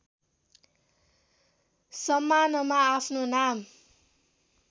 सम्मानमा आफ्नो नाम